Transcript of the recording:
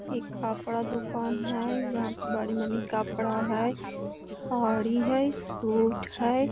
इ कपड़ा दुकान हेय जहाँ पे बड़ी मनी कपड़ा हेय साड़ी हेय सूट हेय।